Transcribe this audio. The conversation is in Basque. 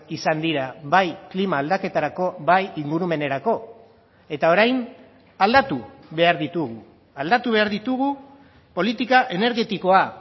izan dira bai klima aldaketarako bai ingurumenerako eta orain aldatu behar ditugu aldatu behar ditugu politika energetikoa